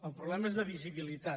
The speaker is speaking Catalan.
el pro·blema és de visibilitat